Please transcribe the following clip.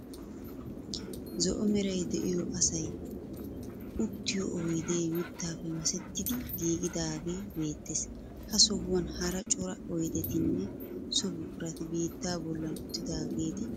Zo"o meray de'iyo asayi uttiyo oyidee mittaappe masettidi giigidagee beettees. Ha sohuwan hara cora oyidetinne so buqurati biittaa bollan uttidaageeti beettoosona.